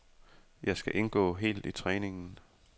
Jeg skal indgå helt i træningen.